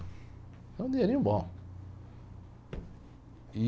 Era um dinheirinho bom.